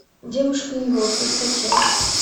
девушка и волки скачай